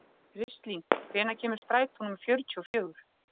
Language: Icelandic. Kristlín, hvenær kemur strætó númer fjörutíu og fjögur?